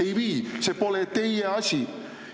Ei vii, see pole teie asi!